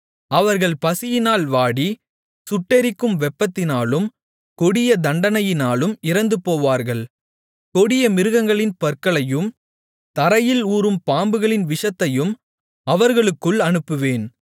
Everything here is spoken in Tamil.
அவர்கள் பசியினால் வாடி சுட்டெரிக்கும் வெப்பத்தினாலும் கொடிய தண்டனையினாலும் இறந்துபோவார்கள் கொடிய மிருகங்களின் பற்களையும் தரையில் ஊரும் பாம்புகளின் விஷத்தையும் அவர்களுக்குள் அனுப்புவேன்